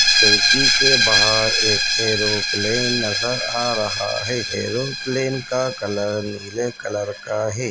खिड़की के बाहर एक एरोप्लेन नजर आ रहा है। एरोप्लेन का कलर नीले कलर का है।